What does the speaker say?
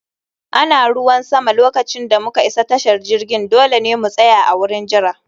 Ana ruwan sama lokacin da muka isa tashar jirgin, dole ne mu tsaya a wurin jira